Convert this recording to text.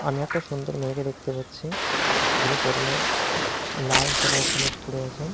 ''আমি একটা সুন্দর মেয়েকে''''দেখতে পাচ্ছি যিনি পরনে লাল সালোয়ারকামিস পড়ে আছে।''